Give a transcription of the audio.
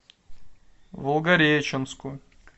волгореченску